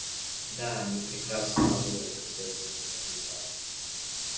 да они прекрасно работали когда я за ними наблюдал